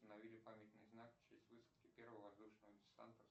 установили памятный знак в честь высадки первого воздушного десанта